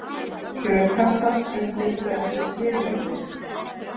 Kjörkassar uppfylltu ekki skilyrði